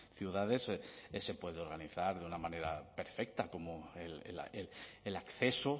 ciudades se puede organizar de una manera perfecta como el acceso